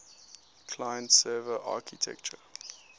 client server architecture